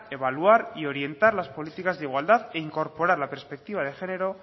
evaluar y orientar las políticas de igualdad e incorporar la perspectiva de género